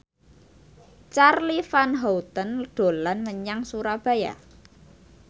Charly Van Houten dolan menyang Surabaya